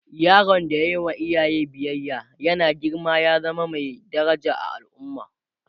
yaron da ya Yi wa iyaye biyaya yana girma ya zama Mai daraja a al'umma